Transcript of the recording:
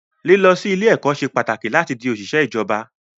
Lílọ sí ilé ẹ̀kọ́ ṣe pàtàkì láti di òṣìṣẹ́ ìjọba